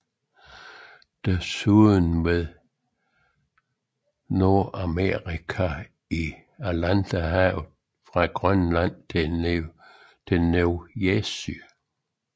Desuden ved Nordamerika i Atlanterhavet fra Grønland til New Jersey